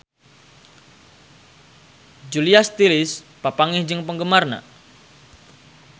Julia Stiles papanggih jeung penggemarna